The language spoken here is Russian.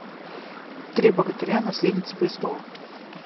три богатыря наследница престола